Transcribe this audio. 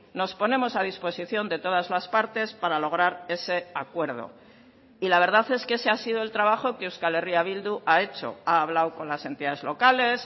nos ponemos a disposición de todas las partes para lograr ese acuerdo y la verdad es que ese ha sido el trabajo que euskal herria bildu ha hecho ha hablado con las entidades locales